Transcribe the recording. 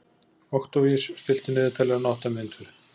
Októvíus, stilltu niðurteljara á átta mínútur.